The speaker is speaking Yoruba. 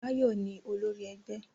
Báyọ̀ ni olori ẹgbẹ́.